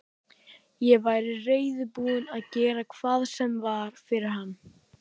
Ég væri reiðubúin að gera hvað sem var fyrir hann.